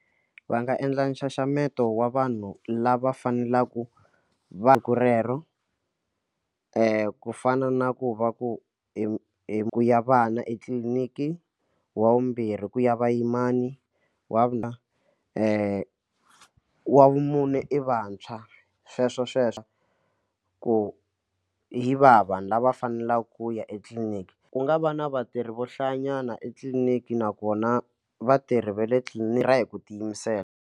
Va nga endla nxaxameto wa vanhu lava faneleke va rero ku fana na ku va ku ku ya vana etliliniki wa vumbirhi ku ya vuyimana wa wavumune i vantshwa sweswo sweswo ku hi va vanhu lava faneleke ku ya etliliniki ku nga va na vatirhi vo hlaya nyana etliliniki nakona vatirhi va le tliliniki va tirha hi ku tiyimisela.